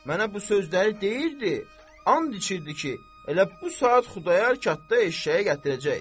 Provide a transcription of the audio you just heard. Mənə bu sözləri deyirdi, and içirdi ki, elə bu saat Xudayar Kafta eşşəyi gətirəcək.